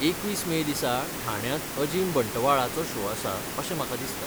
एकवीस मे दिसा ठाण्यांत अजीम बंटवाळाचो शो आसा अशें म्हाका दिसता.